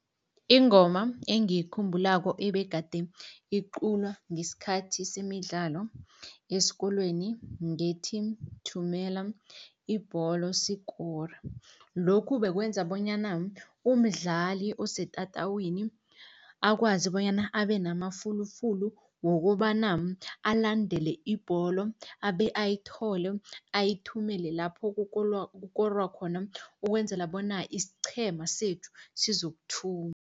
Ingoma engiyikhumbulako ebegade iculwa ngesikhathi semidlalo esikolweni ngethi, thumela ibholo sikore. Lokhu bekwenza bonyana umdlali osetatawini, akwazi bonyana abe namafulufulu wokobana alandele ibholo abe ayithole, ayithumele lapho kukorwa khona ukwenzela bona isiqhema sethu sizokuthumba.